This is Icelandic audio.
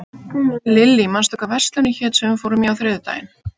Lilly, manstu hvað verslunin hét sem við fórum í á þriðjudaginn?